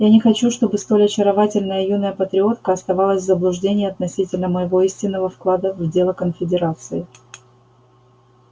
я не хочу чтобы столь очаровательная юная патриотка оставалась в заблуждении относительно моего истинного вклада в дело конфедерации